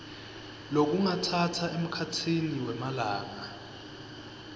lokungatsatsa emkhatsini wemalanga